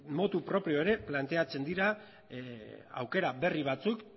motu propio ere planteatzen dira aukera berri batzuk